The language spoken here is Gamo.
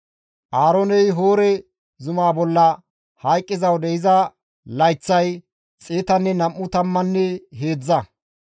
Aarooney Hoore zumaa bolla hayqqiza wode iza layththay xeetanne nam7u tammanne heedzdza.